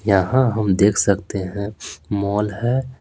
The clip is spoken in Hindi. यहाँ हम देख सकते हैं मॉल है।